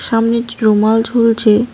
সামনেজ রুমাল ঝুলছে।